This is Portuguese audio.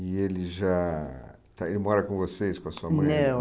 E ele já... Ele mora com vocês, com a sua mãe? Não